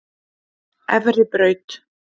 Efribraut